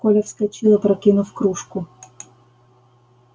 коля вскочил опрокинув кружку